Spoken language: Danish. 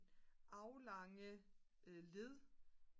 aflange led